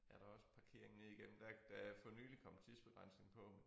Er der også parkering ned igennem der er der er for nylig kommet tidsbegrænsning på